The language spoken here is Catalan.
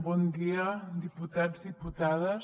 bon dia diputats diputades